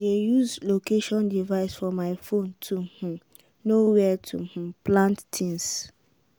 i dey use location device for my phone to um know where to um plant things.